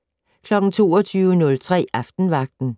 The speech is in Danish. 22:03: Aftenvagten